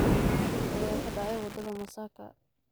Shil ayaa ka dhacay wadada Masaka.